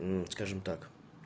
скажем так